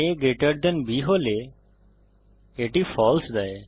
a greater than b হলে এটি false দেয়